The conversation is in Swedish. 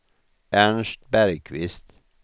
Ernst Bergkvist